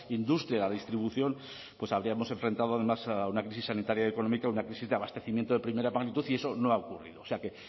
industria la distribución nos habríamos enfrentado a una crisis sanitaria y económica una crisis de abastecimiento de primera magnitud y eso no ha ocurrido quiero